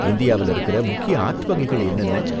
இந்தியாவுல இருக்குற முக்கிய ஆர்ட் வகைகள் என்னென்ன?